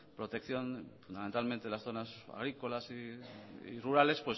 protección fundamentalmente las zonas agrícolas y rurales